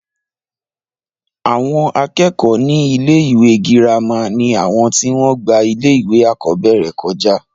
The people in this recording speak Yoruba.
àwọn akẹ́kọ̀ọ́ ní ilé ìwé girama ni àwọn tí wọ́n gba ilé ìwé àkọ́bẹ̀rẹ̀ kọjá